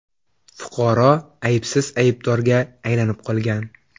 Fuqaro aybsiz aybdorga aylanib qolgan.